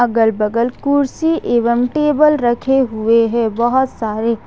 अगल बगल कुर्सी एवं टेबल रखे हुए हैं बहुत सारे।